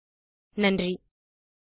குரல் கொடுத்தது ஐட் பாம்பே லிருந்து பிரியா